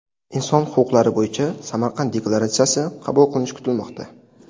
Inson huquqlari bo‘yicha Samarqand deklaratsiyasi qabul qilinishi kutilmoqda.